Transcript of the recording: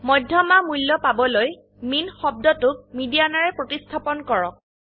মধ্যমা মূল্য পাবলৈ মিন শব্দটোক মিডিয়ান ৰে প্ৰতিস্থাপনকৰক